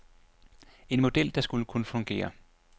En model, der skulle kunne fungere.